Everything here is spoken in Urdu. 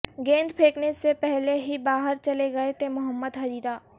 گیند پھینکنے سے پہلے ہی باہر چلے گئے تھے محمد حریرہ